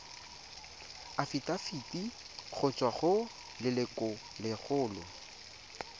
afitafiti go tswa go lelokolegolo